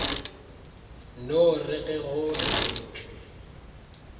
no re ge go laeditšwe